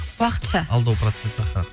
уақытша алдау процессі аха